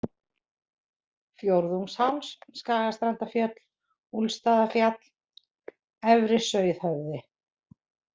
Fjórðungsháls, Skagastrandarfjöll, Úlfsstaðafjall, Efri-Sauðhöfði